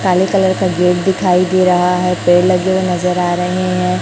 काले कलर का गेट दिखाई दे रहा है पेड़ लगे हुए नजर आ रहे हैं।